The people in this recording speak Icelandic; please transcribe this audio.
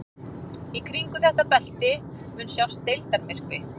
Í kringum þetta belti mun sjást deildarmyrkvi.